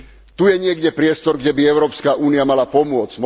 Tu je niekde priestor, kde by Európska únia mala pomôcť.